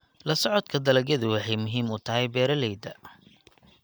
La socodka dalagyadu waxay muhiim u tahay beeralayda.